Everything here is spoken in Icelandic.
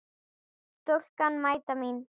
Stúlkan mæta mín.